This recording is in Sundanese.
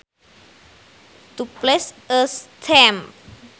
To place a stamp